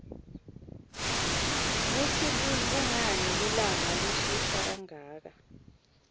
kutsi kunqani lilanqa lishisa kanqaka